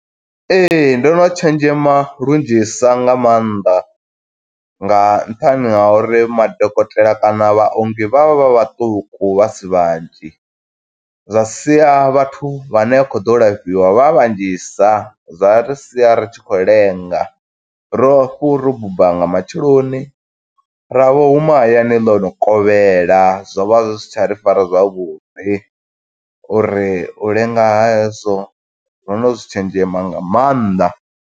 Ee, ndo no tshenzhema lunzhisa nga maanḓa, nga nṱhani ha uri madokotela kana vhaongi vha vha vha vhaṱuku vha si vhanzhi. Zwa sia vhathu vhane vha kho ḓo u lafhiwa vha vhanzhisa, zwa ri sia ri tshi khou lenga, ro buba nga matsheloni ra vho huma hayani ḽo no kovhela, zwo vha zwi si tsha ri fara zwavhuḓi, uri u lenga ha hezwo, ro no zwi tshenzhema nga maanḓa.